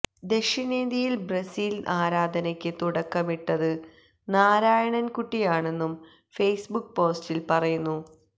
ദഷിണേന്ത്യയില് Brazil ആരാധനയ്ക്ക് തുടക്കമിട്ടത് നാരായണന് കുട്ടിയാണെന്നും ഫെയ്സ് ബുക്ക് പോസ്റ്റില് പറയുന്നു